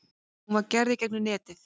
Hún var gerð gegnum netið.